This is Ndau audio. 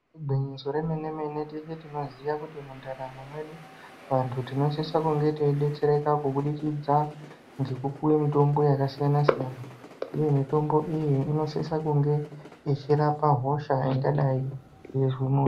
Igwinyiso remene mene teshe tinoziwa kuti mundaramo medu natu tinosise kunge teidetsereka kubudikidza nekupuwe mitombo yakasiyana siyana uye mitombo iyi inosisa kunge ichirapa hosha ingadai yeizwa muntu.